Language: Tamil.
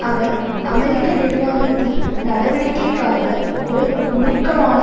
அவர் அமெரிக்க நிர்வாகத்தின் நடவடிக்கைக்காக ஓர் மூர்க்கமான